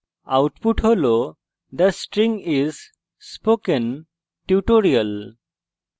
output হল the string is spokentutorial